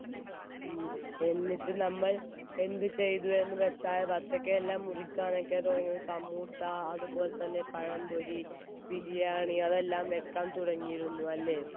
എന്നിട്ട് നമ്മൾ എന്ത് ചെയ്തു എന്നുവെച്ചാൽ ബത്തകയെല്ലാം മുറിക്കാനൊക്കെ തുടങ്ങി സമൂസ അതുപോലെത്തന്നെ പഴംപൊരി ബിരിയാണി അതൊക്കെ